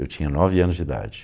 Eu tinha nove anos de idade.